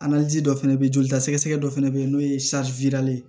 dɔ fɛnɛ be yen joli ta sɛgɛsɛgɛ dɔ fɛnɛ be yen n'o ye ye